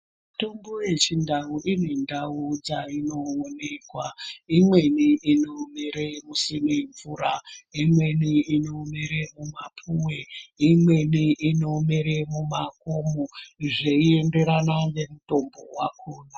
Mitombo yechindau ine ndau dzainoonekwa. Imweni inomere kusina mvura. Imweni inomere mumapuwe. Imweni inomere mumakomo zveienderana nemutombo wakhona.